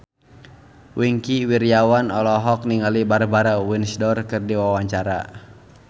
Wingky Wiryawan olohok ningali Barbara Windsor keur diwawancara